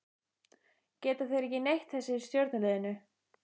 Geta þeir ekki neitt þessir í stjörnuliðinu?